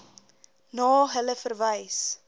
na hulle verwys